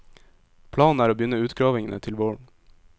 Planen er å begynne utgravningene til våren.